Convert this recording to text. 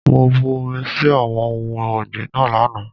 Mo bu omi sí àwọn ohun ọ̀gbìn náà lánàá.